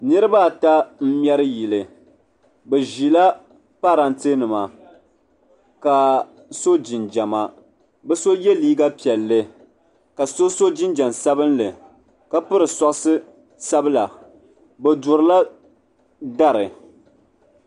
Niriba ata m mɛri yili bɛ ʒila parantɛ nima ka so jinjiɛma bɛ so ye liiga piɛlli ka so so jinjiɛm sabinli ka piri sokisi sabla bɛ durila dari.